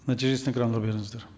нәтижесін экранға беріңіздер